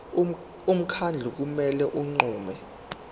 umkhandlu kumele unqume